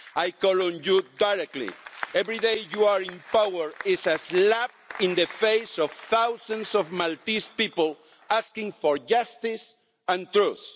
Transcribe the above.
I call on you directly every day you are in power is a slap in the face of thousands of Maltese people asking for justice and truth.